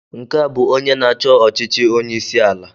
Nke a bụ onye na-achọ ọchịchị onye isi ala.